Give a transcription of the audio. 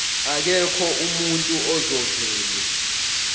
akekho umuntu ozovele